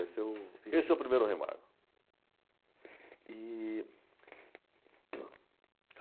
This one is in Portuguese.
Esse é o primeiro Rei Mago.